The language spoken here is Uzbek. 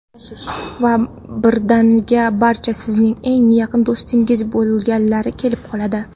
Va birdaniga barcha sizning eng yaqin do‘stingiz bo‘lgilari kelib qoladi.